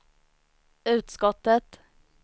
utskottet